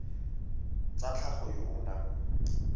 tsa tlhago yo o nang